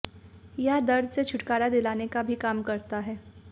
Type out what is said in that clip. यह दर्द से छुटकारा दिलाने का भी काम करता है